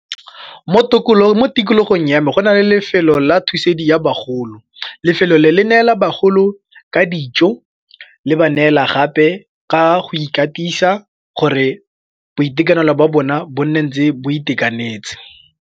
Mo tikologong ya me go na le lefelo la thusedi ya bagolo, lefelo le le neela bagolo ka dijo le ba neela gape ka go ikatisa gore boitekanelo ba bona bo nne ntse bo itekanetse.